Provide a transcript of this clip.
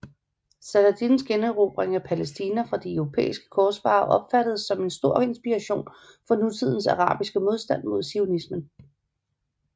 Saladins generobring af Palæstina fra de europæiske korsfarere opfattedes som en stor inspiration for nutidens arabiske modstand mod zionismen